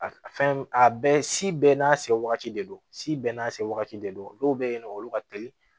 A fɛn a bɛɛ si bɛɛ n'a se wagati de don si bɛɛ n'a se wagati de don dɔw bɛ yen nɔ olu ka teli